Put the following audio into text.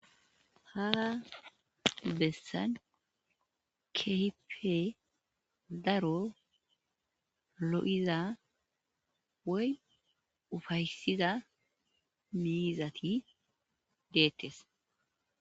Ha besani kehipe daro lo'iza woy upayisida mizati dettes